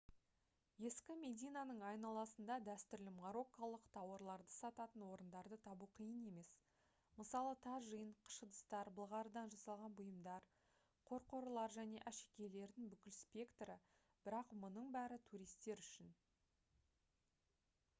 ескі мединаның айналасында дәстүрлі марокколық тауарларды сататын орындарды табу қиын емес мысалы тажин қыш ыдыстар былғарыдан жасалған бұйымдар қорқорлар және әшекейлердің бүкіл спектрі бірақ мұның бәрі туристер үшін